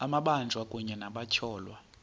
amabanjwa kunye nabatyholwa